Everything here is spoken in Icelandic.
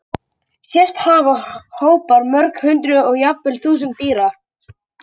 Sést hafa hópar mörg hundruð og jafnvel þúsunda dýra.